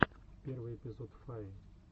первый эпизод фаи